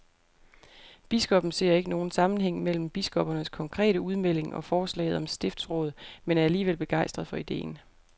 Biskoppen ser ikke nogen sammenhæng mellem biskoppernes konkrete udmelding og forslaget om stiftsråd, men er alligevel begejstret for ideen.